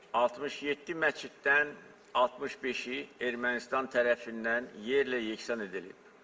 67 məsciddən 65-i Ermənistan tərəfindən yerlə yeksan edilib.